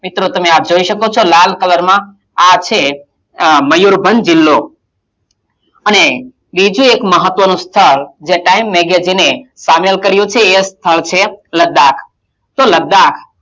મિત્રો તમે આ જોઈ શકો છો લાલ colour માં આ છે અમ મયુરભંજ જિલ્લો અને બીજું એક મહત્વનું સ્થળ જે time magazine એ સામેલ કર્યું છે એ છે લદ્દાક તો લદ્દાક,